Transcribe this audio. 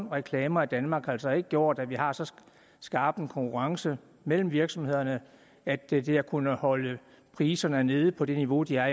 reklamer i danmark altså ikke har gjort at vi har så skarp en konkurrence mellem virksomhederne at det det har kunnet holde priserne nede på det niveau de er